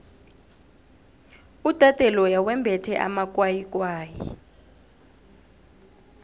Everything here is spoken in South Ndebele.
udade loya wembethe amakwayikwayi